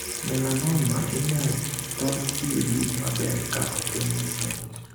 Melanoma' inyal thor thiedhi maber ka ofwenye chon.